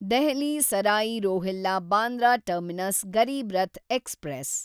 Delhi Sarai Rohilla Bandra terminus Garib Rath express